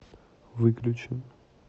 выключи